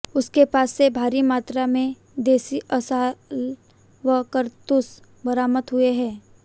उसके पास से भारी मात्रा में देसी असलाह व कारतूस बरामद हुए हैं